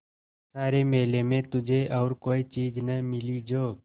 सारे मेले में तुझे और कोई चीज़ न मिली जो